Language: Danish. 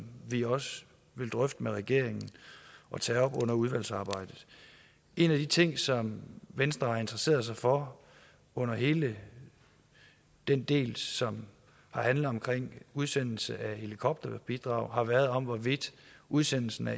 vi også vil drøfte med regeringen og tage op under udvalgsarbejdet en af de ting som venstre har interesseret sig for under hele den del som handlede om udsendelse af helikopterbidraget har været om hvorvidt udsendelsen af